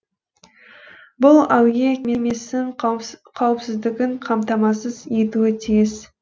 бұл әуе кемесін қауіпсіздігін қамтамасыз етуі тиіс